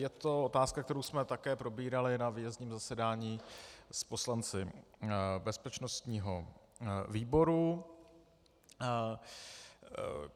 Je to otázka, kterou jsme také probírali na výjezdním zasedání s poslanci bezpečnostního výboru.